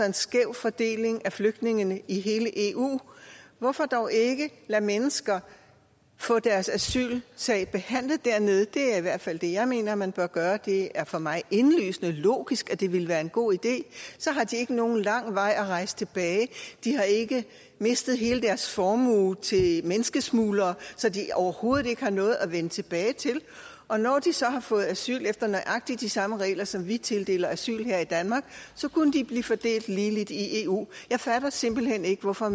en skæv fordeling af flygtninge i hele eu hvorfor dog ikke lade mennesker få deres asylsag behandlet dernede det er i hvert fald det jeg mener man bør gøre det er for mig indlysende logisk at det ville være en god idé så har de ikke nogen lang vej at rejse tilbage og de har ikke mistet hele deres formue til menneskesmuglere så de overhovedet ikke har noget at vende tilbage til og når de så har fået asyl efter nøjagtig de samme regler som vi tildeler asyl efter her i danmark så kunne de blive fordelt ligeligt i eu jeg fatter simpelt hen ikke hvorfor